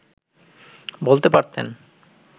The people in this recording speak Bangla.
বলতে পারতেন